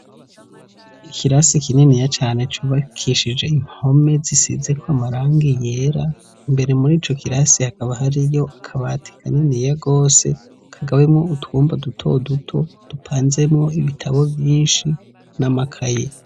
Ikirasi kininiya cane, cubakishije impome zisizeko amarangi yera, imbere muri ico kirasi hakaba hariyo akabati kaniniya gwose, kagabuyemwo utwumba dutoduto, dupanzemwo ibitabo vyinshi n'amakaye.